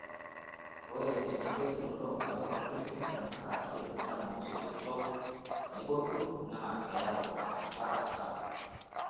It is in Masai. Ore enkituraroto oo mbenek tenkaraki enchan oo soitok tenebo ilkurt naa keyau asara sapuk.